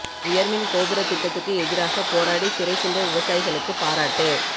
உயா் மின் கோபுரத் திட்டத்துக்கு எதிராக போராடி சிறை சென்ற விவசாயிகளுக்கு பாராட்டு